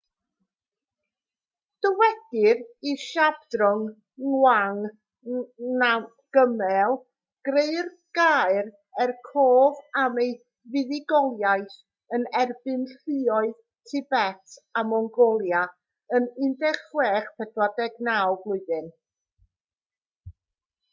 dywedir i zhabdrung ngawang namgyel greu'r gaer er cof am ei fuddugoliaeth yn erbyn lluoedd tibet a mongolia yn 1649